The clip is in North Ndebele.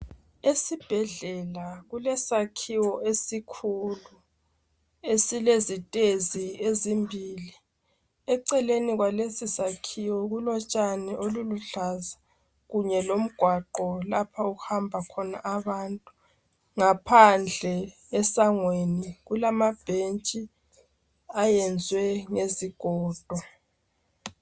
Esibhedlela kulesakhiwo esikhulu esilezitezi ezimbili. Eceleni kwalesisakhiwo kulotshani oluluhlaza kunye lomgwaqo lapha okuhamba khona abantu. Ngaphandle esangweni kulamabhentshi ayenziwe ngezigodo.